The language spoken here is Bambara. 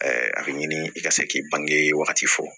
a bɛ ɲini i ka se k'i bange wagati fɔ